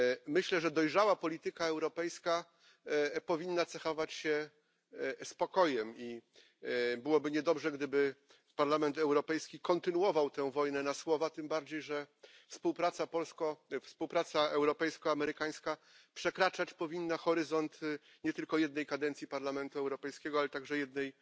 Myślę, że dojrzała polityka europejska powinna cechować się spokojem i byłoby niedobrze, gdyby Parlament Europejski kontynuował tę wojnę na słowa, tym bardziej, że współpraca europejska amerykańska przekraczać powinna horyzonty nie tylko jednej kadencji Parlamentu Europejskiego, ale także jednej